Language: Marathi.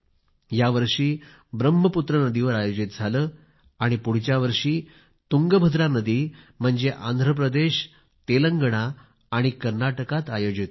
यावर्षी ब्रह्मपुत्रा नदीवर आयोजित झाले आणि येणाऱ्या वर्षी तुंगभद्रा नदी म्हणजेच आंध्रप्रदेश तेलंगणा आणि कर्नाटकात आयोजित होईल